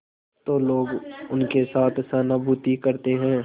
तो लोग उनके साथ सहानुभूति करते हैं